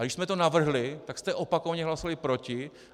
A když jsme to navrhli, tak jste opakovaně hlasovali proti.